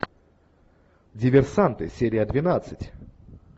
диверсанты серия двенадцать